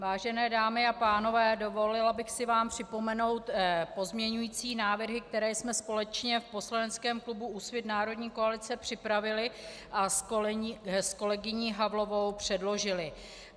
Vážené dámy a pánové, dovolila bych si vám připomenout pozměňující návrhy, které jsme společně v poslaneckém klubu Úsvit - národní koalice připravili a s kolegyní Havlovou předložily.